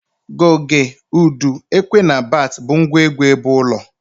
Goge, udu, ekwe na bats bu ngwa egwu ebeulo.